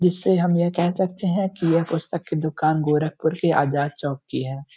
जिससे हम यह कह सकते हैं कि यह पुस्तक की दुकान गोरखपुर के आजाद चौक की है।